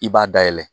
I b'a dayɛlɛ